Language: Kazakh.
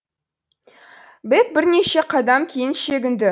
бэк бірнеше қадам кейін шегінді